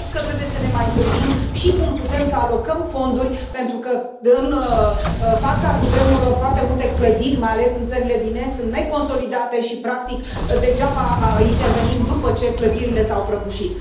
Cred că trebuie să ne mai gândim și cum putem să alocăm fonduri, pentru că în fața cutremurelor foarte multe clădiri, mai ales în țările din est, sunt neconsolidate și, practic, degeaba intervenim după ce clădirile s au prăbușit.